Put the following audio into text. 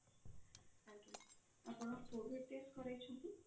ଆଜ୍ଞା ଆପଣ COVID test କରେଇଛନ୍ତି?